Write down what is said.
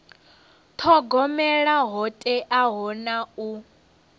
thogomela ho teaho na u